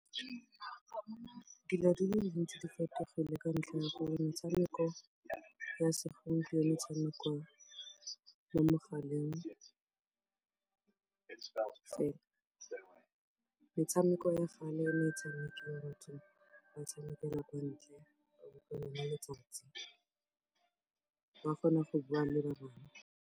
Dilo di le dintsi di fetogile ka ntlha ya gore metshameko ya segompieno e tshamekwa mo mogaleng fela. Metshameko ya kgale e ne e tshamikiwa batho ba tshamekela kwa ntle letsatsi. Ba kgona go bua le ba bang.